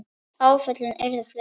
Áföllin urðu fleiri.